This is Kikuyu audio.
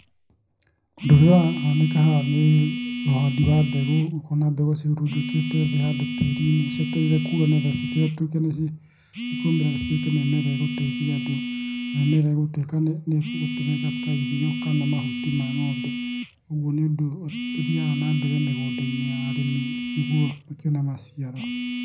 Ũndũ ũrĩa ũrahanĩka haha nĩ ũhandi wa mbegũ ũkona ciũmbĩkĩtwo handũ tĩri-inĩ cietereire kũmĩraa nĩguo cituĩke mĩmera gũteithia andũ na mĩmera ĩgũtuĩka irio kana mahuti ma ng'ombe ũguo nĩ ũndũ ũthiaga na mbere mĩgũnda-inĩ ya arĩmi mĩkĩone maciaro.